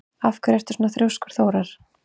Af hverju ertu svona þrjóskur, Þórar?